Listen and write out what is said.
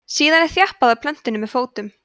síðan er þjappað að plöntunni með fótum